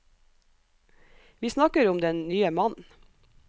Vi snakker om den nye mannen.